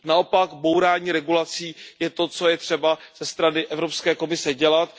Naopak bourání regulací je to, co je třeba ze strany Evropské komise dělat.